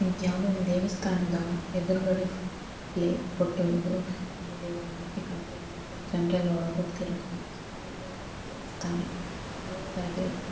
ಇದ್ಯಾವ್ದೋ ಒಂದು ದೇವಸ್ಥನದ ಎದುರು ಗಡೆ ಫ್ ಪ್ಲೇ ಫೋಟೋ ಇದು ಅಂದರೆ ದೇವರ ಮೂರ್ತಿ ಕಾಣ್ತಿದೆ ಮತ್ತೆ ಜನರೆಲ್ಲ ಒಳ್ಗ್ಹೋಗ್ತಿರೋದು ಕಾಣಿಸ್ತಿದೆ ಇದು ಯಾವ್ದೊ ಒಂದು ದೇವಸ್ಥಾನ. ಹಳೇದಾಗಿರೋ ಥರ--